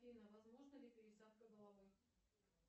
афина возможна ли пересадка головы